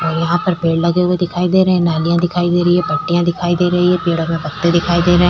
यहाँ पर पेड़ लगे हुए दिखाई दे रहे है नालिया दिखाई दे रही है पत्तियां दिखाई दे रही है पेड़ों में पत्ते दिखाई दे रहे है।